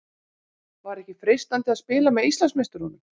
Var ekki freistandi að spila með Íslandsmeisturunum?